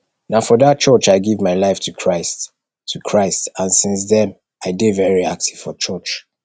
na for dat church i give my life to christ to christ and since dem i dey very active for church